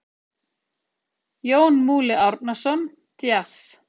Jón Múli Árnason: Djass.